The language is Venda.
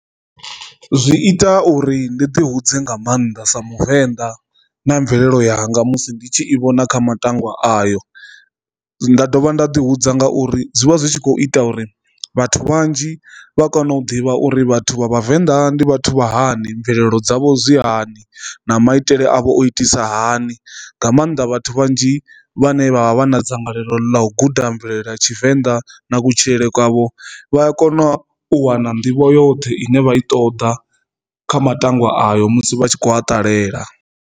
Zwi ita uri ndi ḓi hudze nga maanḓa sa muvenḓa na mvelelo yanga musi ndi tshi i vhona kha matangwa ayo nda dovha nda ḓi hudza nga uri zwi vha zwi tshi kho ita uri vhathu vhanzhi vha kone u ḓivha uri vhathu vha vhavenḓa ndi vhathu vha hani mvelelo dzavho zwi hani na maitele a vha o itisa hani. Nga maanḓa vhathu vhanzhi vhane vha vha vha vha na dzangalelo ḽa u guda mvelele ya Tshivenḓa na kutshilele kwavho vha a kona u wana nḓivho yoṱhe ine vha i ṱoḓa kha matangwa ayo musi vha tshi kho a ṱalela.